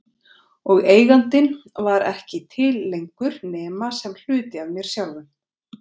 Og Eigandinn var ekki til lengur nema sem hluti af mér sjálfum.